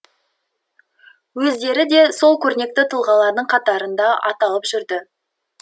өздері де сол көрнекті тұлғалардың қатарында аталып жүрді